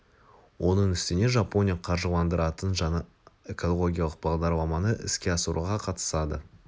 оның үстіне жапония қаржыландыратын жаңа экологиялық бағдарламаны іске асыруға қатысады